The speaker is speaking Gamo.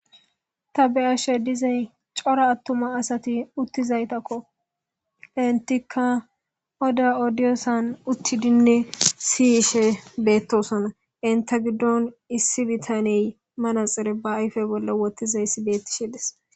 Ta be'ashe dizayis coora atuma asayi utizaysako etika oda odayasan tutidinee si'ishe betosona enita gidon issi betaney bayipeyin manaxire wothizays betishe de'es